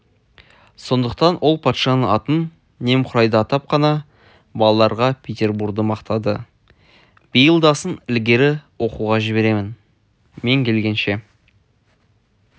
сондықтан ол патшаның атын немқұрайды атап қана балаларға петербурды мақтады биылдасын ілгері оқуға жіберем мен келгенше